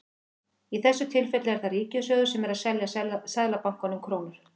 Í þessu tilfelli er það ríkissjóður sem er að selja Seðlabankanum krónur.